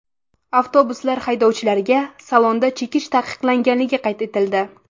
Avtobuslar haydovchilariga salonda chekish taqiqlanganligi qayd etildi.